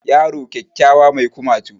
Yaro kyakkyawa mai kumatu